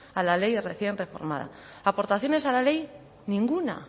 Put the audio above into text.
a la ley recién reformada aportaciones a la ley ninguna